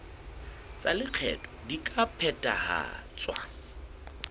tsa lekgetho di ka phethahatswa